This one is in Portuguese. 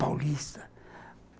Paulista.